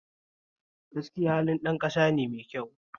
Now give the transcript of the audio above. Gaskiya halin ɗan ƙasane mai kyau